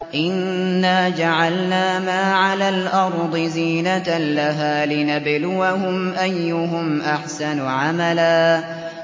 إِنَّا جَعَلْنَا مَا عَلَى الْأَرْضِ زِينَةً لَّهَا لِنَبْلُوَهُمْ أَيُّهُمْ أَحْسَنُ عَمَلًا